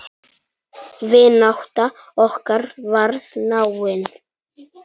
Vinátta okkar varð náin.